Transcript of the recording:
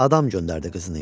Adam göndərdi qızının yanına.